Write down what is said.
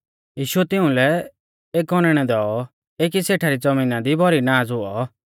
यीशुऐ तिंउलै एक औनैणौ दैऔ एकी सेठा री ज़मीना दी भौरी नाज़ हुऔ